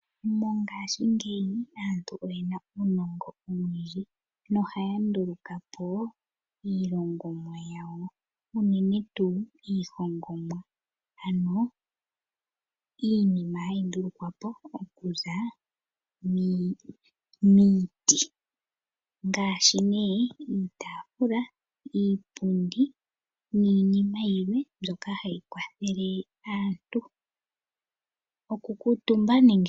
Mongashingeyi aantu oyena uunongo owundji nohaya nduluka po iilongomwa yawo unene tuu iihongomwa ano iinima hayi ndulukwa po okuza miiti. Ngaashi nee iitafula, iipundi niinima yilwe mbyoka hayi kwathele aantu okukuutuba nenge